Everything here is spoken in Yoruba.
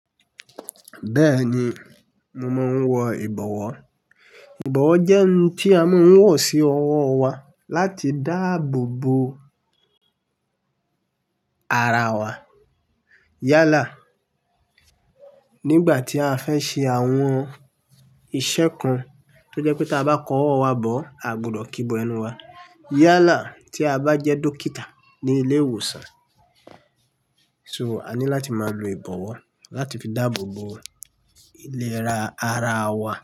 Bẹ́ẹ̀ni, mo máa ń wọ ìbọ̀wọ́. Ìbọ̀wọ́ jẹ́ ohun tí a máa ń wọ̀ sí ọwọ́ wa láti dáàbò bo ara wa. Yálà, nígbà tí a fẹ́ ṣe àwọn iṣẹ́ kan tó jẹ́ pé tí a bá kọ ọwọ́ wa bọ̀, a gbọdọ̀ kíbo ẹnu wa. Yálà, tí a bá jẹ́ dókítà ní ilé ìwòsàn, so a ní láti máa lo ìbọ̀wọ́ láti fi dáàbòbo ìlera ara wa.